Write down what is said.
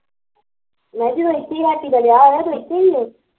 ਮੈਂ ਕਿਹਾਂ ਜਦੋਂ ਹੈਪੀ ਸਾਡੀ ਦਾ ਵਿਆਹ ਹੋਇਆ ਉਦੋਂ ਇੱਥੇ ਈ ਸੀ